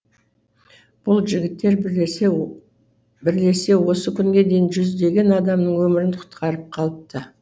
бұл жігіттер бірлесе осы күнге дейін жүздеген адамның өмірін құтқарып қалыпты